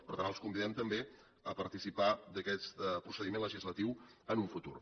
per tant els convidem també a participar d’aquest procediment legislatiu en el futur